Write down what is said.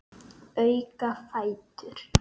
Auka fætur.